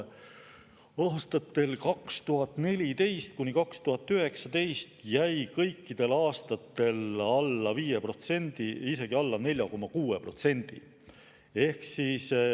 Aastatel 2014–2019 jäi see kõikidel aastatel alla 5%, isegi alla 4,6%.